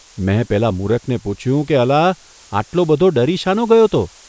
મેં પેલા મૂરખને પૂછ્યું કે અલા, આટલો બધો ડરી શાનો ગયો તો?